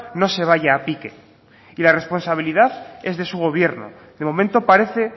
no se vaya a pique y la responsabilidad es de su gobierno de momento parece